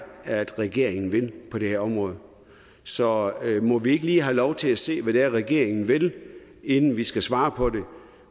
regeringen vil på det her område så må vi ikke lige have lov til at se hvad det er regeringen vil inden vi skal svare på det